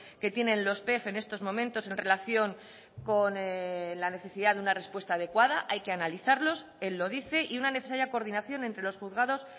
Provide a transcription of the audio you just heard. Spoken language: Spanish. que tienen los pef en estos momentos en relación con la necesidad de una respuesta adecuada hay que analizarlos él lo dice y una necesaria coordinación entre los juzgados